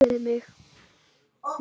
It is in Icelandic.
Þeir elskuðu mig.